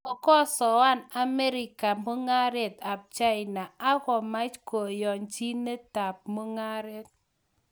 Kokosoan Amerika mung'aret ab China ak komach kayanchinetab mung'aret